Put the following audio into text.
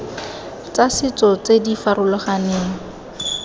tsa setso tse di farologaneng